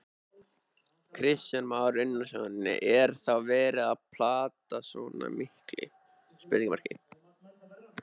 Kristján Már Unnarsson: Er þá verið að planta svona miklu?